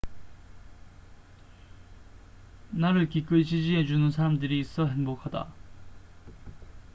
나를 기꺼이 지지해 주는 사람들이 있어 행복하다